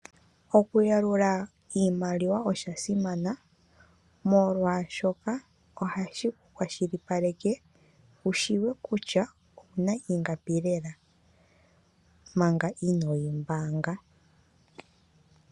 Okuyalula iimaliwa osha simana molwashoka ohashi kwashilipaleke wushiwe kutya okuna ingapi lela manga inoyi mbaanga.